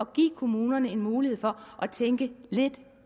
give kommunerne en mulighed for at tænke lidt